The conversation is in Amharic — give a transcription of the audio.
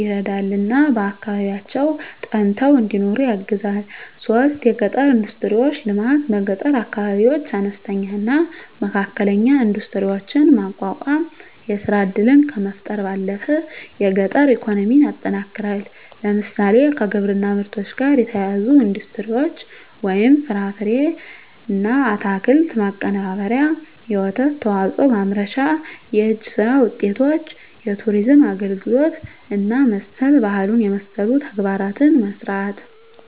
ይረዳልና በአካባቢያቸው ፀንተው እንዲኖሩ ያግዛል 3. የገጠር ኢንዱስትሪዎች ልማት በገጠር አካባቢዎች አነስተኛና መካከለኛ ኢንዱስትሪዎችን ማቋቋም የሥራ ዕድልን ከመፍጠር ባለፈ የገጠር ኢኮኖሚን ያጠናክራል። ለምሳሌ፣ ከግብርና ምርቶች ጋር የተያያዙ ኢንዱስትሪዎች (ፍራፍሬና አትክልት ማቀነባበሪያ፣ የወተት ተዋጽኦ ማምረቻ)፣ የእጅ ሥራ ውጤቶች፣ የቱሪዝም አገልግሎት እና መሠል ባህሉን የመሠሉ ተግባራትን መሥራት